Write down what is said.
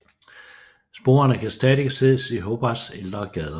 Sporene kan stadig ses i Hobarts ældre gader